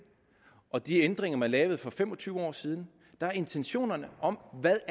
og de ændringer man lavede for fem og tyve år siden der er intentionerne om hvad